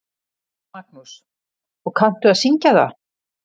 Magnús: Og kanntu að syngja það?